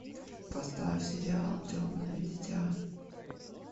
поставь сериал темное дитя